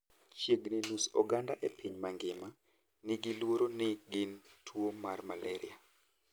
Chiegni nus oganda e piny ngima nigi luoro ni gin tuo mar malaria.